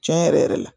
Tiɲɛ yɛrɛ yɛrɛ la